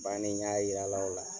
Bannen n y'a yir'a la o la.